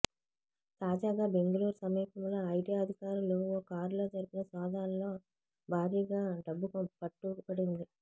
తాజాగా బెంగళూరు సమీపంలో ఐటీ అధికారులు ఓ కారులో జరిపిన సోదాల్లో భారీగా డబ్బు పట్టుబడింది